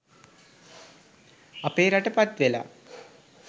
අපේ රට පත්වෙලා